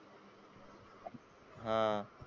हा.